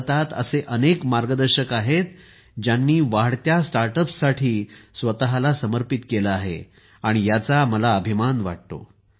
भारतात असे अनेक मार्गदर्शक आहेत ज्यांनी वाढत्या स्टार्टअप्ससाठी स्वतःला समर्पित केले आहे आणि याचा मला अभिमान वाटतो